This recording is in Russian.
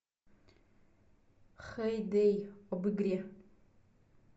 хэй дэй об игре